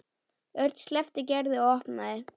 Örn sleppti Gerði og opnaði.